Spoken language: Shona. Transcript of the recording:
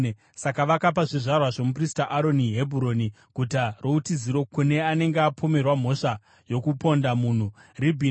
Saka vakapa zvizvarwa zvomuprista Aroni Hebhuroni (guta routiziro kune anenge apomerwa mhosva yokuponda munhu), Ribhina,